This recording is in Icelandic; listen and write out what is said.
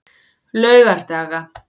laugardaga